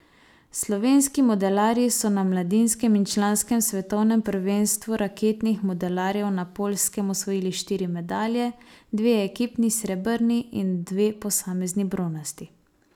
Slovenski modelarji so na mladinskem in članskem svetovnem prvenstvu raketnih modelarjev na Poljskem osvojili štiri medalje, dve ekipni srebrni in dve posamezni bronasti.